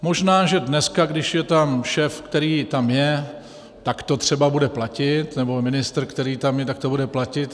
Možná že dneska, když je tam šéf, který tam je, tak to třeba bude platit, nebo ministr, který tam je, tak to bude platit.